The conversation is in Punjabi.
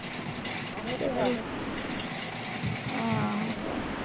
ਉਹੀਂ ਤੇ ਗੱਲ ਆ ਆਹ